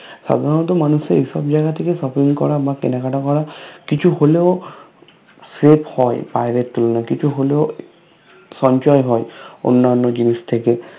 সাধারণত মানুষদের এসব জায়গা থেকে Shopping করা বা কেনাকাটা করা কিছু হলেও Save হয় বাহিরের তুলনায় কিছু হলেও সঞ্চয় হয় অন্যানো জিনিস থেকে